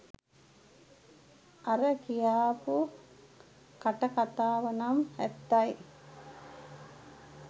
අර කියාපු කටකතාවනම් ඇත්තයි.